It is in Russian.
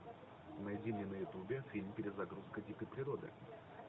найди мне на ютубе фильм перезагрузка дикой природы